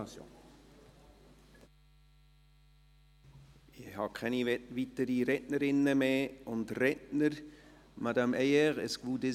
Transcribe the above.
Ich habe keine weiteren Rednerinnen und Redner mehr auf der Liste.